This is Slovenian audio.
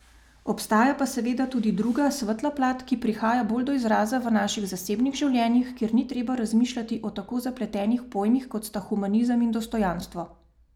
Obstaja pa seveda tudi druga, svetla plat, ki prihaja bolj do izraza v naših zasebnih življenjih, kjer ni treba razmišljati o tako zapletenih pojmih, kot sta humanizem in dostojanstvo.